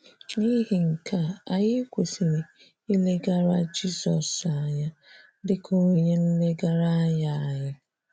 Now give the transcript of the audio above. N'ihi nke a, anyị kwesịrị ilegara Jizọs anya dị ka onye nlegara anya anyị.